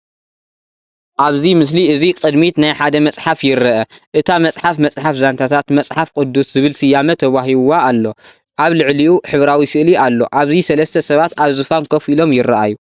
ኣብዚ ምስሊ እዚ ቅድሚት ናይ ሓደ መጽሓፍ ይርአ። እታ መጽሓፍ “መጽሓፍ ዛንታታት መጽሓፍ ቅዱስ” ዝብል ስያመ ተዋሂብዋ ኣሎ። ኣብ ልዕሊኡ ሕብራዊ ስእሊ ኣሎ ኣብዚ ሰለስተ ሰባት ኣብ ዝፋን ኮፍ ኢሎም ይረኣዩ።